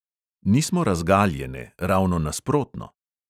Nismo razgaljene, ravno nasprotno.